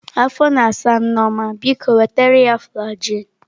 Afọ na asa Nneoma, biko wetara ya flajilụ.